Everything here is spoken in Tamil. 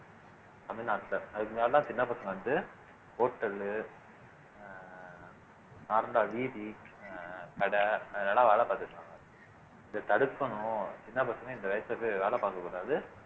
தமிழ்நாட்டுல அதுக்கு முன்னாடிலாம் சின்ன பசங்க வந்து hotel லு அஹ் வீதி அஹ் கடை அதுலயெல்லாம் வேலை பாத்துட்டு இருந்தாங்க இத தடுக்கணும் சின்ன பசங்க இந்த வயசுல போய் வேலை பார்க்கக் கூடாது